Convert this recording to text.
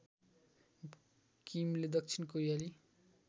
किमले दक्षिण कोरियाली